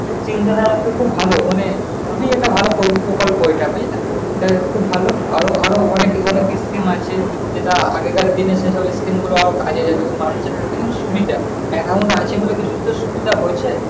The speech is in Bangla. চিন্তাটা হচ্ছে খুব ভালো মানে খুব ভালো প্র- প্রকল্প এইটা বুঝলা। এটা খুভ ভালো আরো অনেক অনেক scheme আছে। যে আগেকের দিনে সে সব scheme গুলো কাজে দিত মানুষের জন্য সুবিধা। account থাকছে বলে কিছুতো সুবিধা হয়ছে।